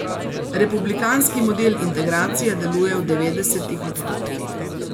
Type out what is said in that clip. Republikanski model integracije deluje v devetdesetih odstotkih.